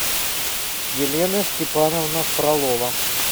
елена степановна фролова